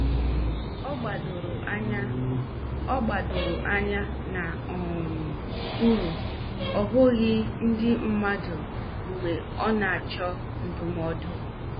Ọ gbadoro anya Ọ gbadoro anya n' um uru, obughi ndị mmadu mgbe ọ na- achọ ndụmọdụ.